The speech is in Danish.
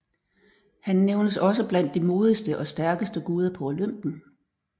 Han nævnes også blandt de modigste og stærkeste guder på Olympen